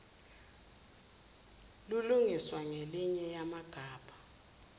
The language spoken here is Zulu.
lilungiswa ngelinye yamgabha